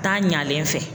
Taa ɲalen fɛ